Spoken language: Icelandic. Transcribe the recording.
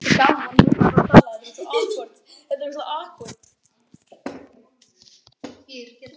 Ísmar, hvernig er veðrið í dag?